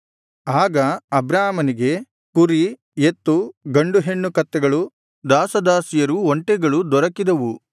ಆಗ ಅಬ್ರಾಮನಿಗೆ ಕುರಿ ಎತ್ತು ಗಂಡು ಹೆಣ್ಣು ಕತ್ತೆಗಳು ದಾಸದಾಸಿಯರು ಒಂಟೆಗಳು ದೊರಕಿದವು